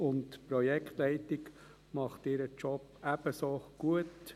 Die Projektleitung macht ihren Job ebenfalls gut.